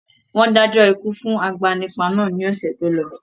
Wọn dájọ́ ikú fún agbanipa náà ni ọ̀sẹ̀ tó lọ